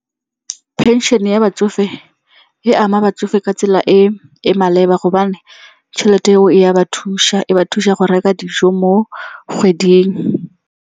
Phenšene ya batsofe e ama batsofe ka tsela e e maleba gobane tšhelete eo e ka ba thusa e ba thusa go reka dijo mo kgweding.